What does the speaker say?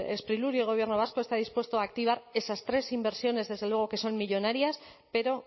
sprilur y el gobierno vasco están dispuestos a activar esas tres inversiones desde luego que son millónarias pero